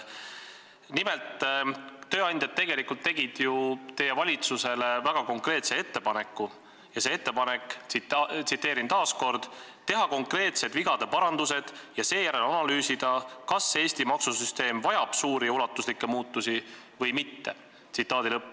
Nimelt, tööandjad tegelikult tegid ju teie valitsusele väga konkreetse ettepaneku ja see ettepanek on, tsiteerin veel kord: "Teha konkreetsed vigade parandused ja seejärel analüüsida, kas Eesti maksusüsteem vajab suuri ja ulatuslikke muutusi või mitte.